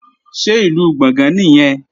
Ṣé Ìlú Gbọ̀ngán nìyẹn?